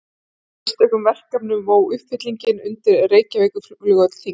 Af einstökum verkefnum vó uppfyllingin undir Reykjavíkurflugvöll þyngst.